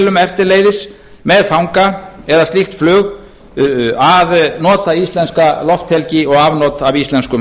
flugvélum eftirleiðis með fanga eða slíkt flug að nota íslenska lofthelgi og afnot af íslenskum